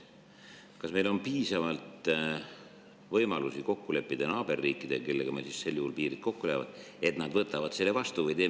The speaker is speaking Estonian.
Kas meil on siis piisavalt võimalusi kokku leppida naaberriikidega, kellega meil piirid kokku lähevad, et nad võtavad selle vastu?